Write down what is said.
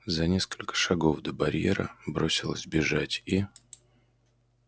за несколько шагов до барьера бросилась бежать и